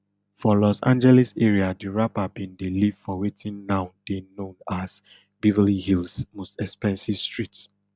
for los angeles area di rapper bin dey live for wetin now dey known as beverly hills most expensive street